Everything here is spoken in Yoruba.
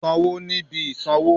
Sanwo ni ibi isanwo